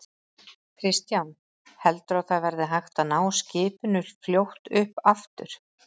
Kristján: Heldurðu að það verði hægt að ná skipinu fljótt upp aftur?